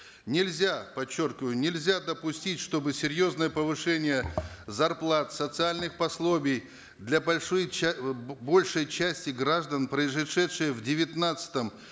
нельзя подчеркиваю нельзя допустить чтобы серьезное повышение зарплат социальных пособий для большой большей части граждан произошедшее в девятнадцатом